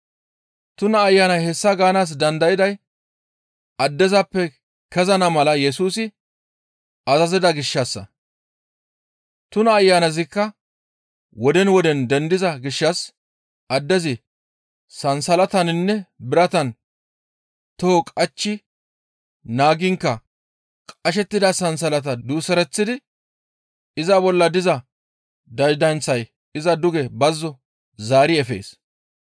Tuna ayanay hessa gaanaas dandayday addezappe kezana mala Yesusi azazida gishshassa. Tuna ayanazikka woden woden dendiza gishshas addezi sansalataninne biratan toho qachchi naagiinkka qashettida sansalataa duusereththidi iza bolla diza daydanththay iza duge bazzo zaari efees.